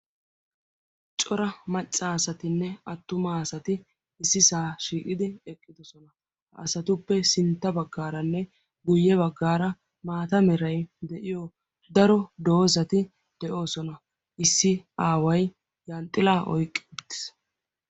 cora macca asatinne attuma asati issisaa shiiqidi eqqidosona ha asatuppe sintta baggaaranne guyye baggaara maata meray de'iyo daro doosati de'oosona issi aaway yanxxila oyqqi uttiis